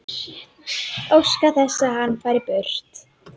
Óska þess að hann fari burt.